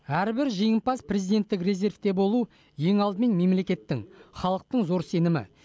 әрбір жеңімпаз президенттік резервте болу ең алдымен мемлекеттің халықтың зор сенімі